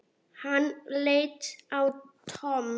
Hann leit á Tom.